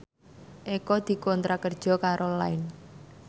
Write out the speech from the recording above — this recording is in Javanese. Eko dikontrak kerja karo Line